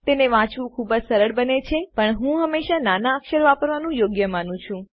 તેને વાંચવું ખુબ સરળ બને છે પણ હું હંમેશા નાના અક્ષર વાપરવાનું યોગ્ય માનું છું